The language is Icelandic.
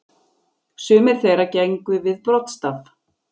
Sumir þeirra gengu við broddstaf.